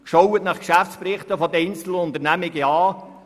Schauen Sie die Geschäftsberichte einiger Unternehmungen an.